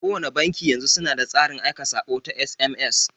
Kowanne banki yanzu suna da tsarin aika saƙo na SMS.